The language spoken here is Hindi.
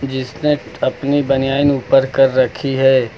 जिसने अपनी बनियान ऊपर कर रखी है।